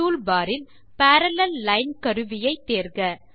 இதை செய்யtoolbar இல் பரல்லேல் லைன் கருவியை தேர்க